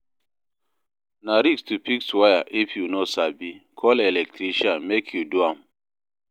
Na risk to fix wire if you no sabi, call electrician make e do am.